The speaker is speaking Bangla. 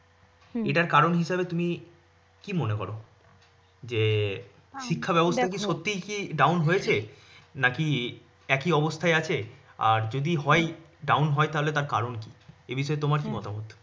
এটার কারণ হিসেবে তুমি কী মনে কর? যে শিক্ষা ব্যবস্থা সত্যি কি down হয়েছে? নাকি একই অবস্থায় আছে আর যদি হয় down হয় তাহলে তার কারণ কী? এ বিষয়ে তোমার কী মতামত?